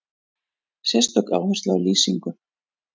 Sérstök áhersla á lýsingu.